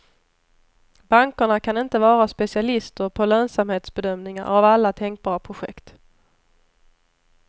Bankerna kan inte vara specialister på lönsamhetsbedömningar av alla tänkbara projekt.